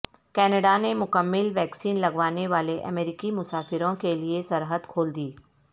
Canada نے مکمل vaccine لگوانے والے امریکی مسافروں کے لیے سرحد کھول دی